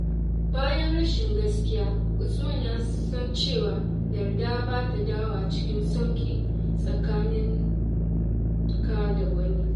Bayan rashin gaskiya, Usman ya san cewa yarda ba ta dawowa cikin sauƙi tsakaninka da wani.